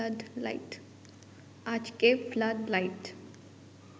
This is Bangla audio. আজকে ফ্লাড লাইট